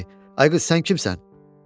Dedi: "Ay qız, sən kimsən?"